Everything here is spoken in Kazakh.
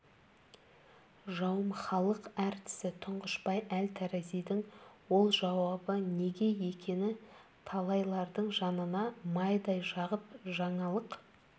жауым халық артисі тұңғышбай әл таразидың ол жауабы неге екені талайлардың жанына майдай жағып жаңалық